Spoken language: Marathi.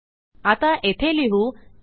आता येथे लिहू आयएफ